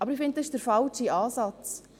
Aber ich denke, dies ist der falsche Ansatz.